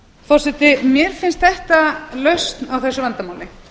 forseti mér finnst þetta lausn á þessu vandamáli